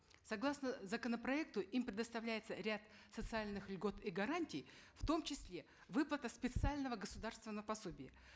согласно законопроекта им предоставляется ряд социальных льгот и гарантий в том числе выплата специального государственного пособия